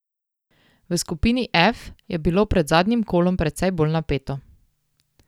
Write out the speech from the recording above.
V skupini F je bilo pred zadnjim kolom precej bolj napeto.